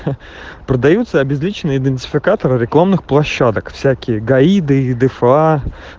продаются обезличенные идентификаторы рекламных площадок всякие гаиды и дефа